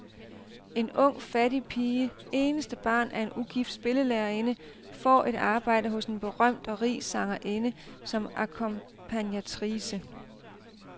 En ung fattig pige, eneste barn af en ugift spillelærerinde, får et arbejde hos en berømt og rig sangerinde som akkompagnatrice.